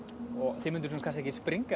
þið mynduð ekkert springa